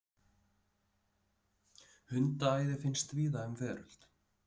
Hundaæði finnst víða um veröld.